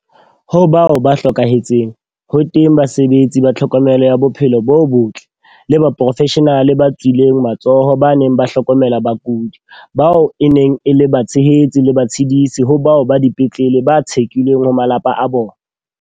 Ho bao ba hlokahetseng, ho teng basebetsi ba tlhokomelo ya bophelo bo botle, le baporofeshenale ba tswileng matsoho ba neng ba hlokomela bakudi, bao e neng e le batshehetsi le batshedisi ho bao ba dipetlele ba tshekilweng ho ba malapa a bona.